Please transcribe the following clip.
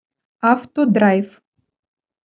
автодрайв